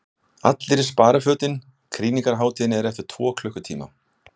ALLIR Í SPARIFÖTIN KRÝNINGARHÁTÍÐIN ER EFTIR TVO KLUKKUTÍMA!